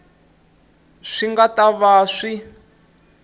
swi nga ta va swi